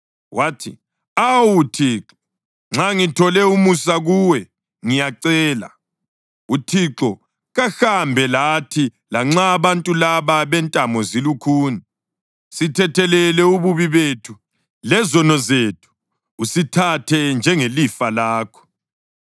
Wathi, “Awu Thixo, nxa ngithole umusa kuwe, ngiyacela, uThixo kahambe lathi. Lanxa abantu laba bentamo zilukhuni, sithethelele ububi bethu lezono zethu, usithathe njengelifa lakho.”